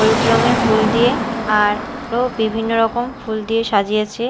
হলুদ রঙের ফুল দিয়ে আরো বিভিন্ন রকম ফুল দিয়ে সাজিয়েছে।